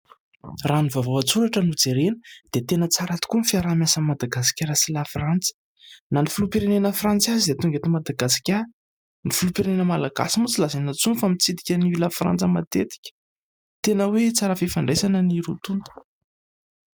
Raha ny vaovao an-tsoratra no jerena dia tena tsara tokoa ny fiaraha-miasan'i Madagasikara sy Lafrantsa na ny filoham-pirenena frantsy aza dia tonga eto Madagasikara, ny filoham-pirenena malagasy moa tsy lazaina intsony fa mitsidika an'i Lafrantsa matetika; tena hoe tsara fifandraisana ny roa tonta.